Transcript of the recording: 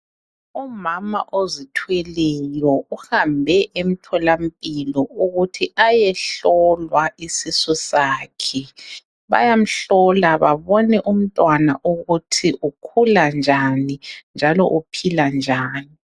Umama ozithweleyo uhambe emtholampilo ukuthi ayehlolwa isisu sakhe bayamhlola babone umtwana ukuthi ukhula njan njalo uphila njan